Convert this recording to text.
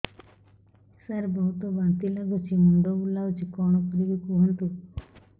ସାର ବହୁତ ବାନ୍ତି ଲାଗୁଛି ମୁଣ୍ଡ ବୁଲୋଉଛି କଣ କରିବି କୁହନ୍ତୁ